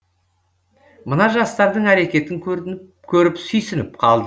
мына жастардың әрекетін көрініп көріп сүйсініп қалдым